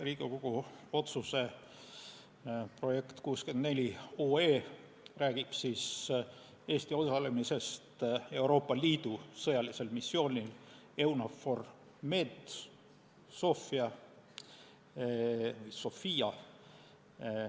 Riigikogu otsuse projekt 64 räägib Eesti osalemisest Euroopa Liidu sõjalisel missioonil EUNAVFOR Med/Sophia.